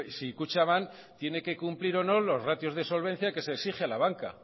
si kutxabank tiene que cumplir o no los ratios de solvencia que se exige a la banca